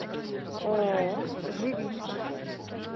ооо живица